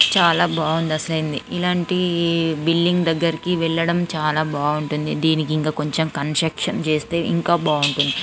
చాలా బాగుంది అసలైంది ఇలాంటి బిల్లింగ్ దెగ్గర వెళ్లడం చాలా బాగుంటుంది దీనికి కొంచం కన్స్ట్రక్షన్ చేస్తే ఇంకా బాగుంటుంది.